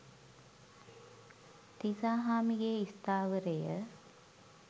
තිසාහාමි ගේ ස්ථාවරය